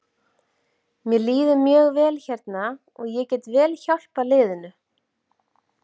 Mér líður mjög vel hérna og ég get vel hjálpað liðinu.